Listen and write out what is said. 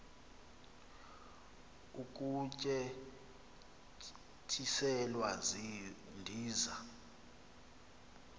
ukutye tyiselwa ndiza